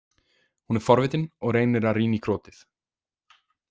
Hún er forvitin og reynir að rýna í krotið.